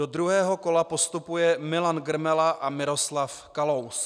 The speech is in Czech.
Do druhého kola postupuje Milan Grmela a Miroslav Kalous.